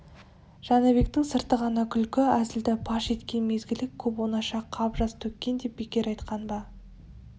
жәнібектің сырты ғана күлкі-әзілді паш еткен мезгілі көп оңаша қап жас төккен деп бекер айтқан ба